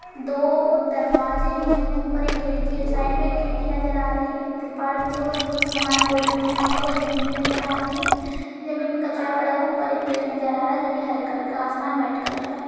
दो दरवाजे हैं। ऊपर एक खिड़की है। साइड में एक खिड़की नजर आ रही है तिरपाल बिछा हुआ है उसमे कुछ समान पोटली में रखा हुआ है। जमीन नजर आ रही है। जमीन में कचरा पढ़ा हुआ है। ऊपर एक पेड़ नजर आ रहा है जोकि हरे कलर का। आसमान व्हाइट कलर का है।